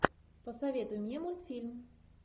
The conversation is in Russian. посоветуй мне мультфильм